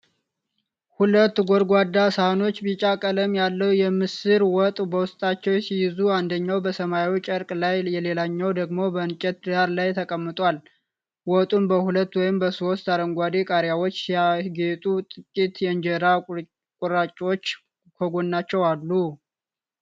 ሁለት ጎድጓዳ ሳህኖች ቢጫ ቀለም ያለው የምስር ወጥ በውስጣቸው ሲይዙ፣ አንደኛው በሰማያዊ ጨርቅ ላይ፣ ሌላኛው ደግሞ በእንጨት ዳራ ላይ ተቀምጧል። ወጡን በሁለት ወይም በሦስት አረንጓዴ ቃሪያዎች ሲያጌጡ፣ ጥቂት የእንጀራ ቁራጮችም ከጎናቸው አሉ።